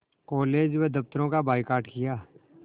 college व दफ़्तरों का बायकॉट किया